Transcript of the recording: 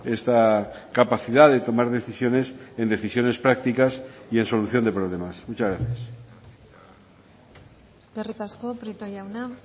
esta capacidad de tomar decisiones en decisiones prácticas y en solución de problemas muchas gracias eskerrik asko prieto jauna